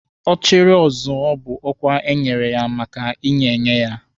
Ọchịrị ọ zụọ bụ ọkwa enyere ya maka inye enye ya